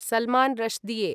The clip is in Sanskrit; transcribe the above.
सलमान् ऋष्डिए